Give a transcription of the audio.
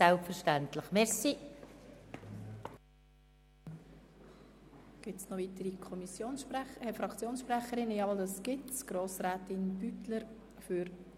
Selbstverständlich lehnen wir vor allem den Minderheitsantrag Schlup vehement ab.